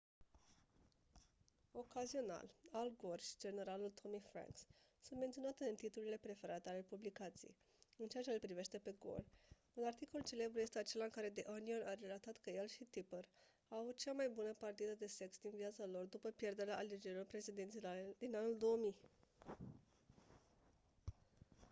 ocazional al gore și generalul tommy franks sunt menționați în titlurile preferate ale publicației în ceea ce-l privește pe gore un articol celebru este acela în care the onion a relatat că el și tipper au avut cea mai bună partidă de sex din viața lor după pierderea alegerilor prezidențiale din anul 2000